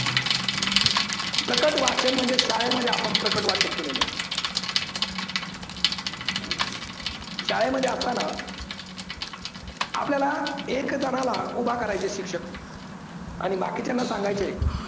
प्रकट वाचन म्हणजे शाळेमध्ये आपण प्रकट वाचन केलेलय. शाळेमध्ये असतांना आपल्याला एक जनाला उभा करायचे शिक्षक आणि बाकीच्यांना सांगायचे